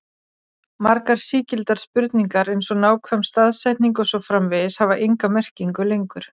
Margar sígildar spurningar eins og nákvæm staðsetning og svo framvegis hafa enga merkingu lengur.